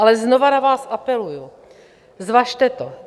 Ale znova na vás apeluji, zvažte to.